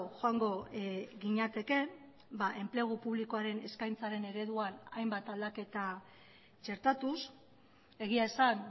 joango ginateke enplegu publikoaren eskaintzaren ereduan hainbat aldaketa txertatuz egia esan